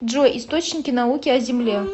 джой источники науки о земле